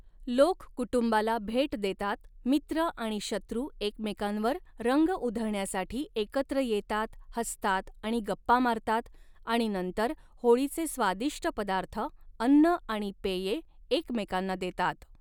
लोक कुटुंबाला भेट देतात, मित्र आणि शत्रू एकमेकांवर रंग उधळण्यासाठी एकत्र येतात, हसतात आणि गप्पा मारतात आणि नंतर होळीचे स्वादिष्ट पदार्थ, अन्न आणि पेये एकमेकांना देतात.